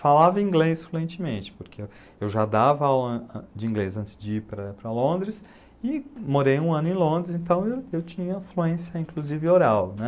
Falava inglês fluentemente, porque eu já dava aula ãh ãh de inglês antes de ir para para Londres e morei um ano em Londres, então eu tinha fluência inclusive oral, né.